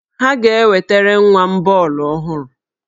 Ha ga-ewetere nwa m bọọlụ ọhụrụ.